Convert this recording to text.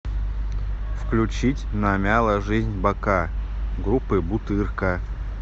включить намяла жизнь бока группы бутырка